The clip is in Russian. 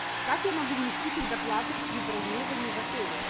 как я могу внести предоплату при бронировании в отеле